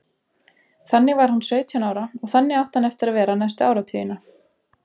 Þannig var hann sautján ára og þannig átti hann eftir að vera næstu áratugina.